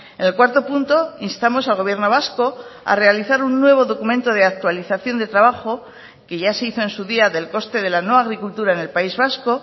en el cuarto punto instamos al gobierno vasco a realizar un nuevo documento de actualización de trabajo que ya se hizo en su día del coste de la nueva agricultura en el país vasco